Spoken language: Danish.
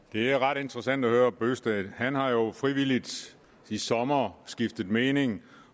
det er ret interessant at høre herre bøgsted han har jo frivilligt i sommer skiftet mening